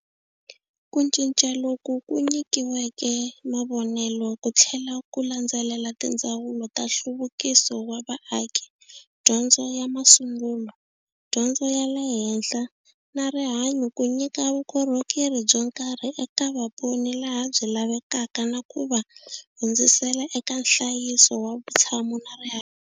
Ku cinca loku ku nykiweke mavonelo ku tlhela ku landzelela tindzawulo ta Nhluvukiso wa Vaaki, Dyondzo ya masungulo, Dyondzo ya le henhla na Rihanyu ku nyika vukorhokeri byo karhi eka vaponi laha byi lavekaka na ku va hundzisela eka nhlayiso wa vutshamo na rihanyu.